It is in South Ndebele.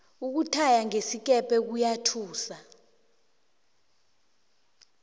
ukuthaya ngesikepe kuyathusa